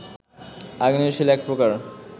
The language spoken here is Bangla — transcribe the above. আগ্নেয় শিলা এক প্রকার